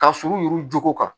Ka surun yuru joko kan